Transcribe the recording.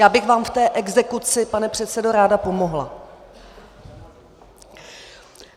Já bych vám v té exekuci, pane předsedo, ráda pomohla.